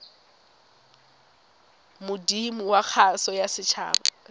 modumo wa kgaso ya setshaba